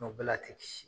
bɛɛ la a tɛ kisi